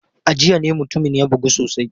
A jiya ne mutumin ya bugu sosai.